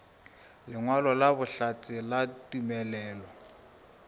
lengwalo la bohlatse la tumelelo